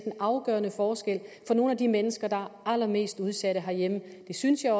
en afgørende forskel for nogle af de mennesker der er allermest udsatte her i landet det synes jeg